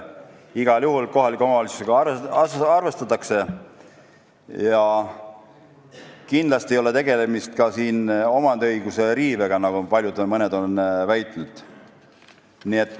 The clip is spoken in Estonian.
Igal juhul omavalitsustega arvestatakse ja kindlasti ei ole tegemist ka omandiõiguse riivega, nagu mõned on väitnud.